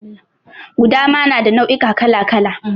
Gudama na da nau'ika kala kala.